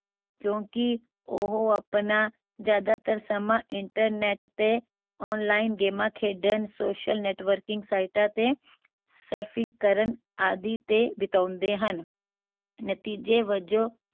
ਕਿਓਂਕਿ ਉਹ ਆਪਣਾ ਜਿਆਦਾਤਰ ਸਮਾਂ internet ਤੇ online ਗੇਮਾਂ ਖੇਡਣ social networking ਸਾਈਟਾਂ ਤੇ surfing ਕਰਨ ਆਦਿ ਤੇ ਬਿਤਾਉਂਦੇ ਹਨ ਨਤੀਜੇ ਵਜੋਂ